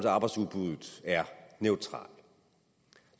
arbejdsudbuddet er neutral